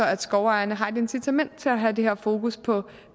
at skovejerne har et incitament til at have det her fokus på